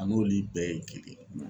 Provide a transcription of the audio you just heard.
A n'olu bɛɛ ye kelen yen.